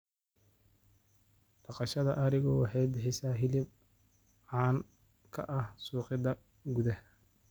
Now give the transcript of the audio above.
Dhaqashada arigu waxay bixisaa hilib caan ka ah suuqyada gudaha.